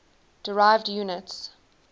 derived units